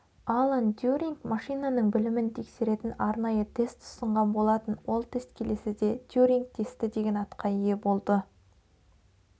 алан тьюринг машинаның білімін тексеретін арнайы тест ұсынған болатын ол тест келесіде тьюринг тесті деген атқа ие болды